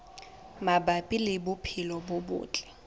mabapi le bophelo bo botle